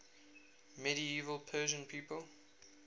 medieval persian people